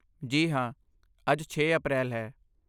ਜੀ ਹਾਂ, ਅੱਜ ਛੇ ਅਪ੍ਰੈਲ ਹੈ